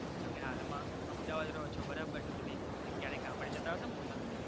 તો તમે હાલ માં અમદાવાદ રહો ચો બરોબર છે તમે ક્યારેક ગામડે જતા હસો ને પોતાના.